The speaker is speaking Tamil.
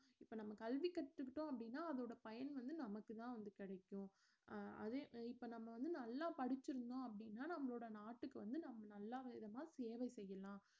இப்ப நம்ம கல்வி கத்துக்கிட்டோம் அப்படின்னா அதோட பயன் வந்து நமக்குத்தான் வந்து கிடைக்கும் அஹ் அதே இப்ப நம்ம வந்து நல்லா படிச்சுருந்தோம் அப்படின்னா நம்மளோட நாட்டுக்கு வந்து நம்ம நல்ல விதமா சேவை செய்யலாம்